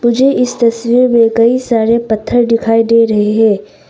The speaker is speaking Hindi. मुझे इस तस्वीर में कई सारे पत्थर दिखाई दे रहे हैं।